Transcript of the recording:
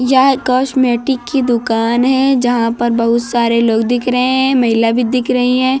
यह कॉस्मेटिक की दुकान है जहां पर बहुत सारे लोग दिख रहे है महिला भी दिख रही है।